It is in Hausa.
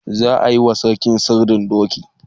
Za a yi wa sarki sirdin doki.